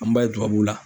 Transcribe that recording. An b'a ye tubabuw la